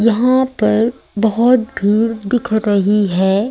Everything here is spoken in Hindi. यहां पर बहोत भीड़ दिख रहीं हैं।